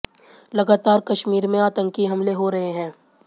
लगातार कश्मीर में आतंकी हमले हो रहे हैं